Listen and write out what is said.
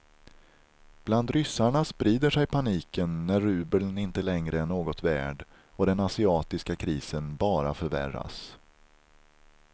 Bland ryssarna sprider sig paniken när rubeln inte längre är något värd och den asiatiska krisen bara förvärras.